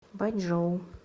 бачжоу